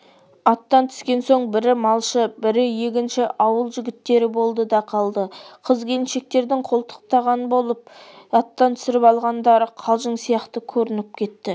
аттан түскен соң бірі малшы бірі егінші ауыл жігіттері болды да қалды қыз-келіншектердің қолтықтаған болып аттан түсіріп алғандары қалжың сияқты көрініп кетті